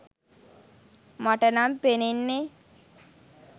මට නම් පෙනෙන්නෙ.